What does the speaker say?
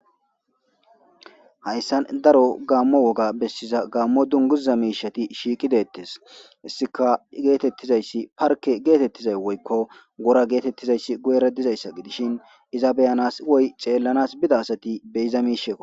hayssan daro gaammo woga bessiza gaammo dunguza miishati shiiqideettes issika geetettizayssi parke geetettizay woykko gora geetettizayssi guyera dizayssa gidishin iza beyanas woy ceellanas bida asati beyiza miishekko